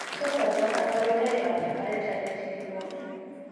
Tos achon kabarunaik ab Recurrent hydatidiform ?